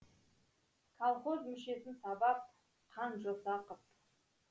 калхоз мүшесін сабап қан жоса қып